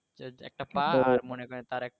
একটা পা আর মনে করেন তার এক